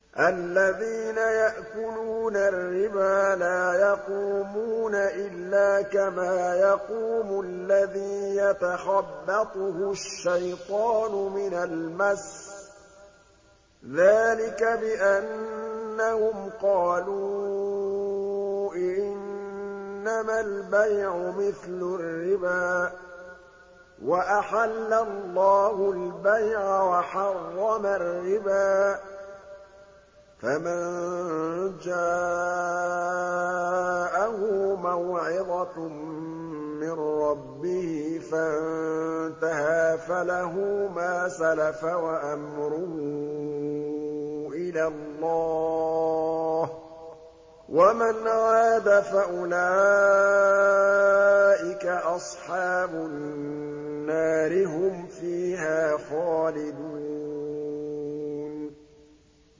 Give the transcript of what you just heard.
الَّذِينَ يَأْكُلُونَ الرِّبَا لَا يَقُومُونَ إِلَّا كَمَا يَقُومُ الَّذِي يَتَخَبَّطُهُ الشَّيْطَانُ مِنَ الْمَسِّ ۚ ذَٰلِكَ بِأَنَّهُمْ قَالُوا إِنَّمَا الْبَيْعُ مِثْلُ الرِّبَا ۗ وَأَحَلَّ اللَّهُ الْبَيْعَ وَحَرَّمَ الرِّبَا ۚ فَمَن جَاءَهُ مَوْعِظَةٌ مِّن رَّبِّهِ فَانتَهَىٰ فَلَهُ مَا سَلَفَ وَأَمْرُهُ إِلَى اللَّهِ ۖ وَمَنْ عَادَ فَأُولَٰئِكَ أَصْحَابُ النَّارِ ۖ هُمْ فِيهَا خَالِدُونَ